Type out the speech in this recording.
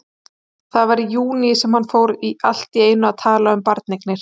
Það var í júní sem hann fór allt í einu að tala um barneignir.